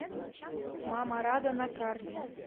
мама рада на карте